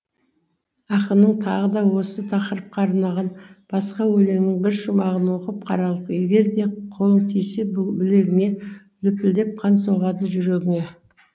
ақынның тағы да осы тақырыпқа арнаған басқа өлеңінің бір шумағын оқып қаралық егер де қолың тисе білегіне лүпілдеп қан соғады жүрегіңе